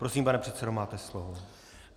Prosím, pane předsedo, máte slovo.